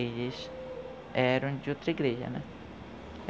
Eles eram de outra igreja, né?